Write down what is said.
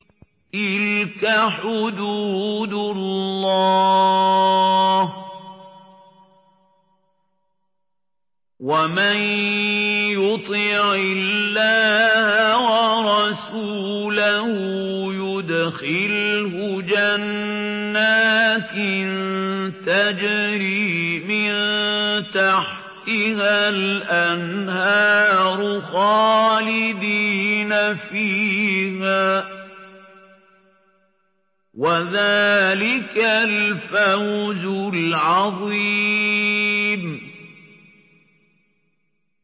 تِلْكَ حُدُودُ اللَّهِ ۚ وَمَن يُطِعِ اللَّهَ وَرَسُولَهُ يُدْخِلْهُ جَنَّاتٍ تَجْرِي مِن تَحْتِهَا الْأَنْهَارُ خَالِدِينَ فِيهَا ۚ وَذَٰلِكَ الْفَوْزُ الْعَظِيمُ